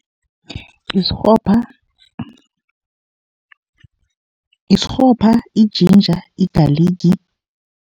Isirhopha, isirhopha, i-ginger, igaligi.